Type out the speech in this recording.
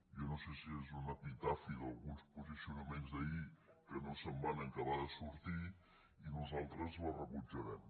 jo no sé si és un epitafi d’alguns posicionaments d’ahir que no se’n van acabar de sortir i nosaltres la rebutjarem